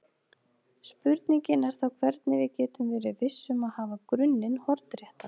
Spurningin er þá hvernig við getum verið viss um að hafa grunninn hornréttan.